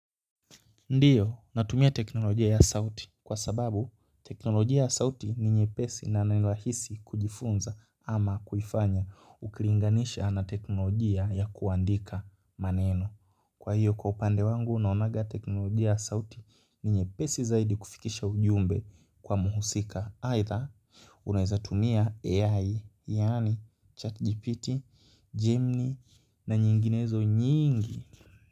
Ndiyo natumia teknolojia ya sauti kwa sababu teknolojia ya sauti ni nyepesi na na ni rahisi kujifunza ama kufanya ukilinganisha na teknolojia ya kuandika maneno kwa hiyo kwa upande wangu naonaga teknolojia ya sauti ni nyepesi zaidi kufikisha ujumbe kwa mhusika aidha unaweza tumia AI yani chatgpt, Gemini na nyinginezo nyingi.